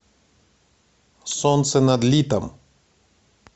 солнце над литом